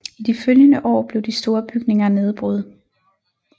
I de følgende år blev de store bygninger nedbrud